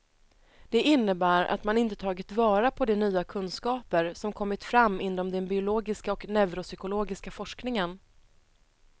Det innebär att man inte tagit vara på de nya kunskaper som kommit fram inom den biologiska och neuropsykologiska forskningen.